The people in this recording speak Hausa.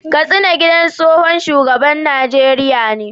Kastina gidan tsohon shugaban Najeriya ne